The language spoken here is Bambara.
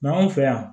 Nka anw fɛ yan